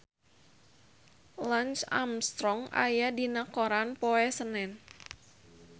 Lance Armstrong aya dina koran poe Senen